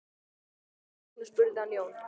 Að því loknu spurði hann Jón